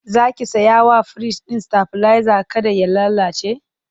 Zaki saya wa firij ɗin stabilizer kada ya lallace?